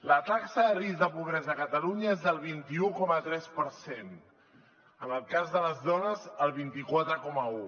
la taxa de risc de pobresa a catalunya és del vint un coma tres per cent en el cas de les dones el vint quatre coma un